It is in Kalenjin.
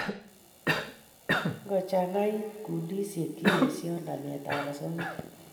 ngo changait kundishek che eshoy namet ab asoya